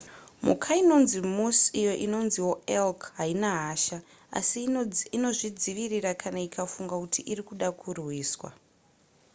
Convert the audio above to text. mhuka inonzi moose iyo inonziwo elk haina hasha asi inozvidzivirira kana ikafunga kuti iri kuda kurwiswa